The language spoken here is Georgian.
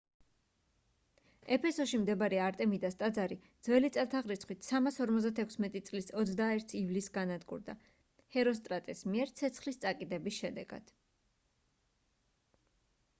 ეფესოში მდებარე არტემიდას ტაძარი ძვ.წ. 356 წლის 21 ივლისს განადგურდა ჰეროსტრატეს მიერ ცეცხლის წაკიდების შედეგად